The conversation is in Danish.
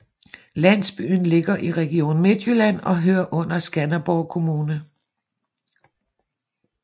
Landsbyen ligger i Region Midtjylland og hører under Skanderborg Kommune